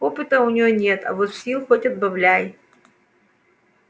опыта у неё нет а вот сил хоть отбавляй